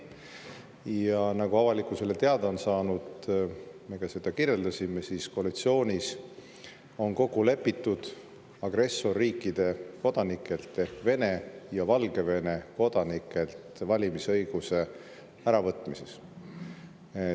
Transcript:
Ja nagu avalikkusele teatavaks on saanud – me kirjeldasime seda –, on koalitsioonis kokku lepitud agressorriikide kodanikelt ehk Vene ja Valgevene kodanikelt valimisõiguse äravõtmises.